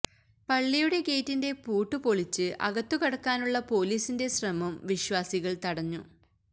പള്ളിയുടെ ഗേറ്റിന്റെ പൂട്ട് പൊളിച്ച് അകത്തു കടക്കാനുള്ള പൊലീസിന്റെ ശ്രമം വിശ്വാസികൾ തടഞ്ഞു